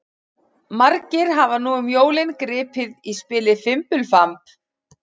Margir hafa nú um jólin gripið í spilið Fimbulfamb.